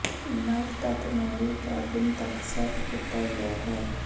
ਨਵ ਤੱਤ ਨੂੰ ਵੀ ਕੈਬਿਨ ਤੱਕ ਸੈੱਟ ਕੀਤਾ ਗਿਆ ਹੈ